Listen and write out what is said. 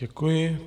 Děkuji.